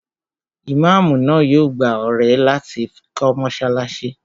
Imáamù náà yóò gbá ọrẹ láti fi kọ́ mọ́sálásí